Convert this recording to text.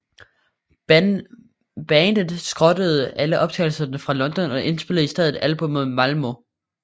Bandet skrottede alle optagelserne fra London og indspillede i stedet albummet i Malmö